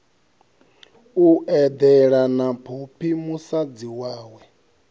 eḓela na phophi musadzi wawe